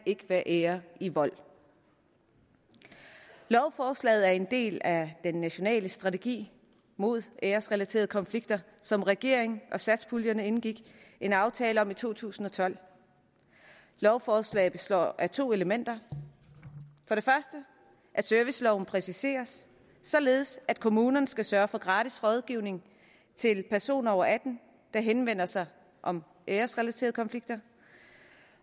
være ære i vold lovforslaget er en del af den nationale strategi mod æresrelaterede konflikter som regeringen og satspuljepartierne indgik en aftale om i to tusind og tolv lovforslaget består af to elementer for det første at serviceloven præciseres således at kommunerne skal sørge for gratis rådgivning til personer over atten år der henvender sig om æresrelaterede konflikter